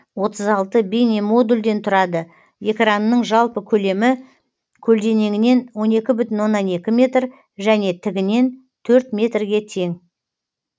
отыз алты бейнемодульден тұрады экранының жалпы көлемі көлденеңінен он екі бүтін оннан екі метр және тігінен төрт метрге тең